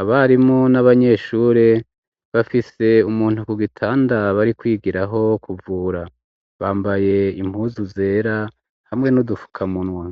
Abarimu n'abanyeshure bafise umuntu ku gitanda bari kwigiraho kuvura. Bambaye impuzu zera hamwe n'udufukamunwa.